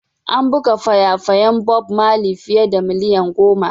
An buga faya-fayan Bob Marley fiye da miliyan goma.